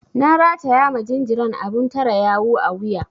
Na rataya ma jinjiran abun tare yawu a wuya.